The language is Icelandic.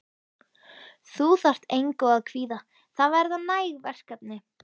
Þú þarft engu að kvíða, það verða næg verkefni.